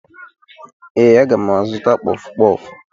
Ee, aga m azụta kpọfụ kpọfụ